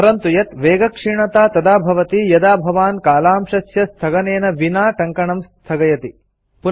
स्मरन्तु यत् वेगक्षीणता तदा भवति यदा भवान् कालांशस्य स्थगनेन विना टङ्कणं स्थगयति